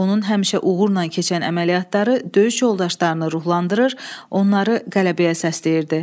Onun həmişə uğurla keçən əməliyyatları döyüş yoldaşlarını ruhlandırır, onları qələbəyə səsləyirdi.